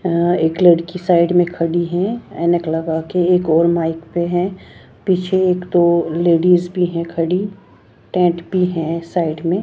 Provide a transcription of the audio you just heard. अ एक लड़की साइड में खड़ी है ऐनक लगा के एक और माइक पे है पीछे एक-दो लेडीज भी हैं खड़ी टेट भी है साइड में।